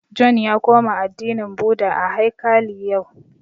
John ya koma addinin Bhudha a haikali yau